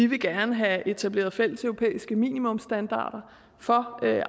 vi gerne vil have etableret fælles europæiske minimumsstandarder for